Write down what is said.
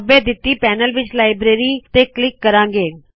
ਖੱਬੇ ਦਿੱਤੀ ਪੈਨਲ ਵਿੱਚ ਲਾਈਬ੍ਰੇਰੀ ਲਾਇਬਰੇਰੀ ਤੇ ਕਲਿੱਕ ਕਰਾੰ ਗੇ